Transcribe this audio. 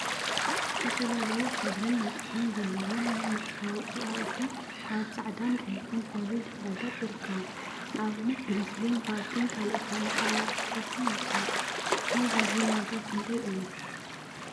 ዝተፈላለዩ ሕብሪን መጠንን ዘለዎም ናይ መፀባበቂ አቁሑ አብ ፃዕዳን ቀይሕን ሕብሪ ድሕረ ገፅ ይርከቡ፡፡ ንአብነት ግሪስሊን፣ ቫዝሊን ካልኦት ናይ መፀባበቂ ፈሰስቲን ይርከቡ፡፡ ናይ ቫዝሊን ዋጋ ክንደይ እዩ?